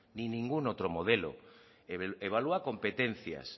ni ningún otro modelo evalúa competencias